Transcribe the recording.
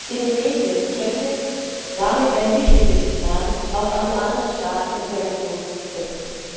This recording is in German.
Indonesien könnte damit ein wichtiges Signal auch an die anderen Staaten in der Region setzen.